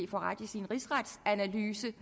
få ret i sin rigsretsanalyse